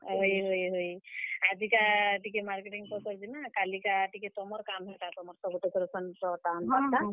ହଏ, ହଏ, ହଏ ଆଜି କା ଟିକେ marketing ପତର ଯିମା, କାଲି କା ଟିକେ ତମର୍ କାମ୍ ହେଟା, ତମର୍ ଟା ସବୁ decoration ର ଟା ଆନ୍ ବାର୍ ଟା।